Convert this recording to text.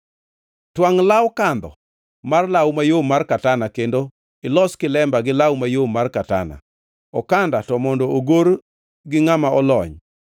“Twangʼ law kandho mar law mayom mar katana kendo ilos kilemba gi law mayom mar katana. Okanda to mondo ogor gi ngʼama olony.